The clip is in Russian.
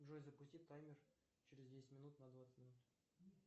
джой запусти таймер через десять минут на двадцать минут